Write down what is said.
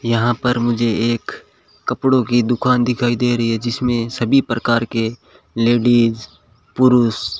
यहां पर मुझे एक कपड़ों की दुकान दिखाई दे रही है जिसमें सभी प्रकार के लेडिस पुरुष --